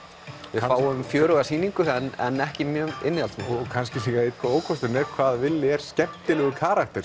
við fáum fjöruga sýningu en ekki mjög innihaldsríka kannski ókosturinn er hvað villi er skemmtilegur karakter